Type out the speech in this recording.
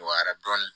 Dɔgɔyara dɔɔni